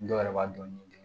Dɔw yɛrɛ b'a dɔn ni